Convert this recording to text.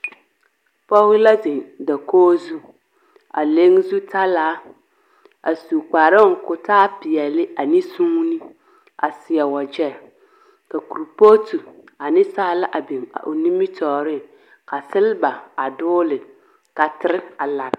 pɔge la zeŋ dakogi zu, a leŋ zutalaa, a su kparoŋ ka o taa peɛle a ne suuni a seɛ wagyɛ, ka korepooti ane saala biŋ o nimitɔɔreŋ ka selba a dogele, ka tere a lare.